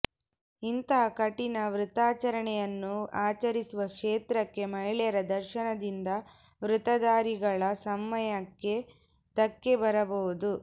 ಇಂಥ ಕಠಿಣ ವೃತಾಚರಣೆಯನ್ನು ಆಚರಿಸುವ ಕ್ಷೇತ್ರಕ್ಕೆ ಮಹಿಳೆಯರ ದರ್ಶನದಿಂದ ವ್ರತಧಾರಿಗಳ ಸಂಯಮಕ್ಕೆ ಧಕ್ಕೆ ಬರಬಹುದು